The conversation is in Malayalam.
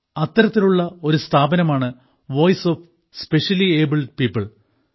അത്തരത്തിലുള്ള ഒരു സ്ഥാപനമാണ് voice of specially abled people